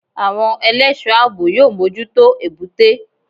Àwọn ẹlẹ́sọ̀ọ́ àbò yóò mójútó Èbúté.